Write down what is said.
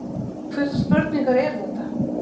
Hvurslags spurningar eru þetta?